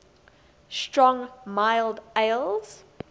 strong mild ales